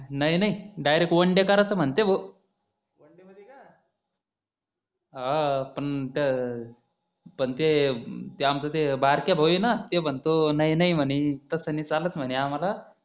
नाही नाही direct one day करायचं म्हणते भो one day मधी का हा हा पण ते आमचं ते बारक्या भाऊ हे ना ते म्हणतो नाही नाही म्हणे तसं नि चालत म्हणे आम्हाला